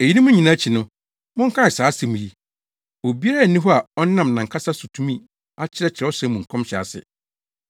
Eyinom nyinaa akyi no, monkae saa asɛm yi: Obiara nni hɔ a ɔnam nʼankasa so betumi akyerɛ Kyerɛwsɛm mu nkɔmhyɛ ase.